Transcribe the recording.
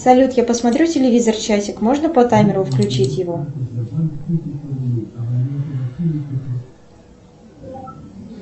салют я посмотрю телевизор часик можно по таймеру включить его